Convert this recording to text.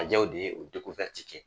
Farajɛw de ye o kɛ